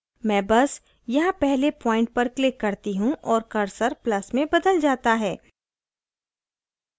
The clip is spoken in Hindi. मैं बस यहाँ पहले प्वॉइंट पर click करती हूँ और cursor plus में बदल जाता है